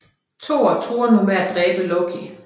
Thor truer nu med at dræbe Loke